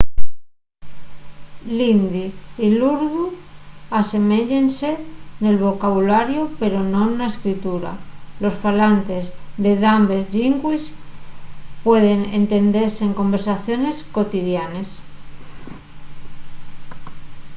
l'hindi y l'urdu aseméyense nel vocabulariu pero non na escritura los falantes de dambes llingües pueden entendese en conversaciones cotidianes